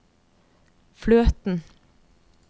fløten